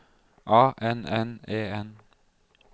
A N N E N